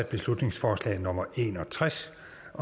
beslutningsforslag nummer en og tres